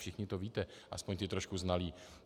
Všichni to víte, aspoň ti trošku znalí.